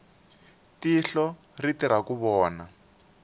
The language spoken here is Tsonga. tihlo ri tirha ku vona